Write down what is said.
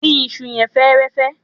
Dín isu yẹn fẹ́ẹ́rẹ́fẹ́.